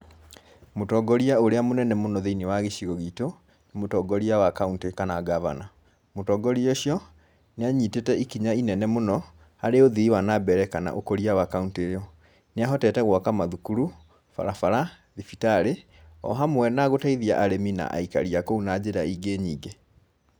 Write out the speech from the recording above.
Mũtongoria ũrĩa mũnene mũno thĩĩ-inĩ wa gĩcigo gitũ, nĩ mũtongoria wa kauntĩ kana ngabana. Mũtongoria ũcio, nĩ anyitĩte ikinya inene mũno harĩ uthii wa na mbere kana ũkũria wa kaũntĩ ĩyo . Nĩahotete gwaka mathukuru, barabara, thibitarĩ o hamwe na gũteithia arĩmi na aikari a kũu na njĩra ingĩ nyingĩ.